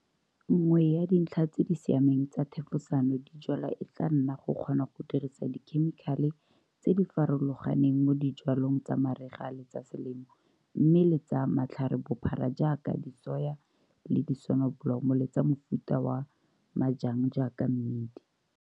Nngwe ya dintlha tse di siameng tsa thefosano dijwalwa e tla nna go kgona go dirisa dikhemikale tse di farologaneng mo dijwalong tsa mariga le tsa selemo mme le tsa matlharebophara jaaka disoya le disonobolomo le tsa mofuta wa majang jaaka mmidi.